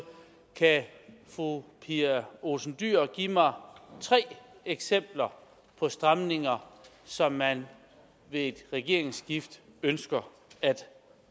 kan fru pia olsen dyhr give mig tre eksempler på stramninger som man ved et regeringsskifte ønsker at